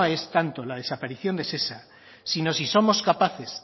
es tanto la desaparición de shesa sino si somos capaces